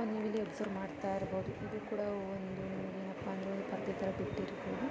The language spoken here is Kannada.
ಸೊ ನೀವು ಇಲ್ಲಿ ಅಬ್ಸರ್ವ್ ಮಾಡುತ್ತಿರಬಹುದು ಇದು ಇದು ಕೂಡ ಒಂದು ಏನಪ್ಪಾ ಅಂದ್ರೆ ಒಂದ್ ಪರ್ದೆ ತರ ಬಿಟ್ಟಿರ್ಬಹುದು.